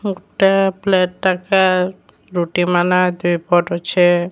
ଗୁଟେ ପ୍ଲେଟ ଟାକେ ରୁଟିମାନେ ଦୁଇପଟ ଅଛି।